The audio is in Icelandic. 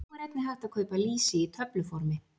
Nú er einnig hægt að kaupa lýsi í töfluformi.